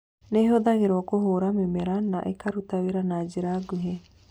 Nĩ ĩhũthagĩrũo kũhũũra mĩmera na ĩkaruta wĩra na njĩra nguhĩ.